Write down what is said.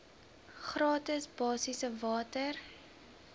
gratis basiese water